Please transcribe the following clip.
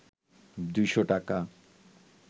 ২০০ টাকা